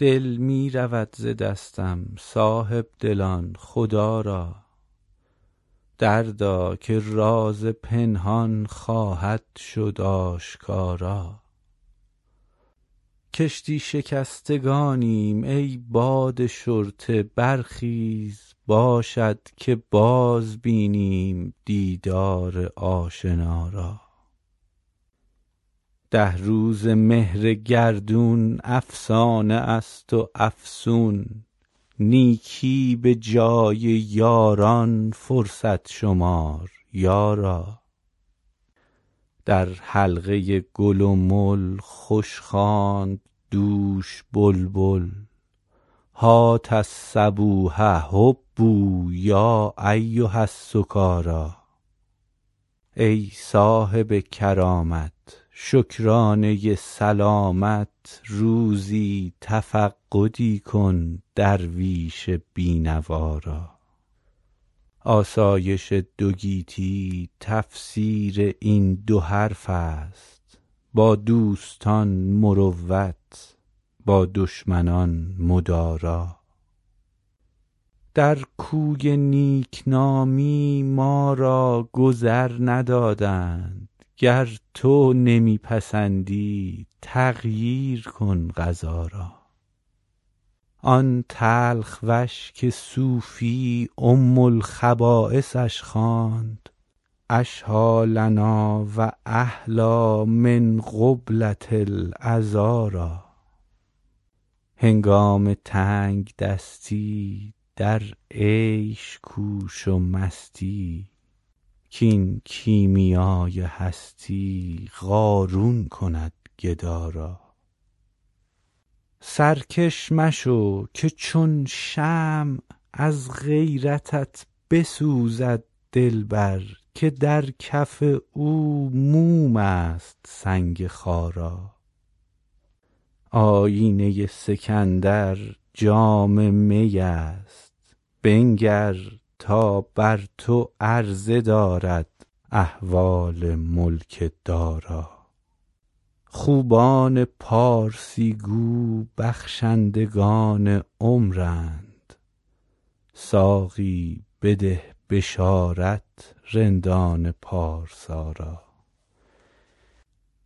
دل می رود ز دستم صاحب دلان خدا را دردا که راز پنهان خواهد شد آشکارا کشتی شکستگانیم ای باد شرطه برخیز باشد که باز بینم دیدار آشنا را ده روزه مهر گردون افسانه است و افسون نیکی به جای یاران فرصت شمار یارا در حلقه گل و مل خوش خواند دوش بلبل هات الصبوح هبوا یا ایها السکارا ای صاحب کرامت شکرانه سلامت روزی تفقدی کن درویش بی نوا را آسایش دو گیتی تفسیر این دو حرف است با دوستان مروت با دشمنان مدارا در کوی نیک نامی ما را گذر ندادند گر تو نمی پسندی تغییر کن قضا را آن تلخ وش که صوفی ام الخبایثش خواند اشهیٰ لنا و احلیٰ من قبلة العذارا هنگام تنگ دستی در عیش کوش و مستی کاین کیمیای هستی قارون کند گدا را سرکش مشو که چون شمع از غیرتت بسوزد دلبر که در کف او موم است سنگ خارا آیینه سکندر جام می است بنگر تا بر تو عرضه دارد احوال ملک دارا خوبان پارسی گو بخشندگان عمرند ساقی بده بشارت رندان پارسا را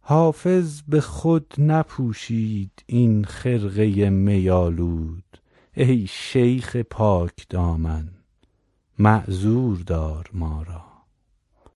حافظ به خود نپوشید این خرقه می آلود ای شیخ پاک دامن معذور دار ما را